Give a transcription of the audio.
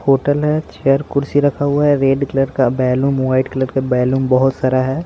Hotel है chair कुर्सी रखा हुआ है रेड कलर का बैलून वाइट कलर का बैलून बहुत सारा है।